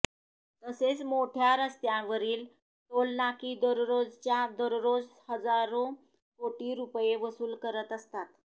तसेच मोठया रस्त्यावरील टोलनाकी दररोजच्या दररोज हजारो कोटी रुपये वसूल करत असतात